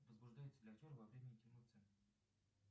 возбуждается ли актер во время интимных сцен